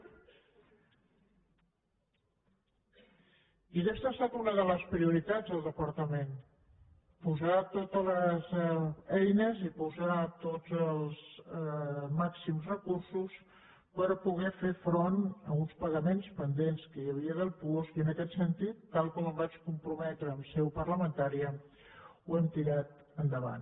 i aquesta ha estat una de les prioritats del departament posar totes les eines i posar tots els màxims recursos per poder fer front a uns pagaments pendents que hi havia del puosc i en aquest sentit tal com em vaig comprometre en seu parlamentària ho hem tirat endavant